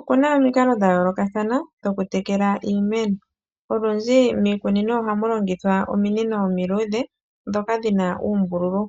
Okuna omikalo dha yoolokathana dhokutekela iimeno. Olundji miikunino ohamu longithwa ominino omiluudhe ndhoka dhi na uumbululu.